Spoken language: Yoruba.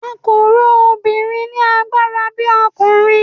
a ko ro Obìnrin ni agbara bi okunrin